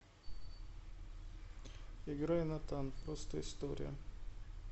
играй натан просто история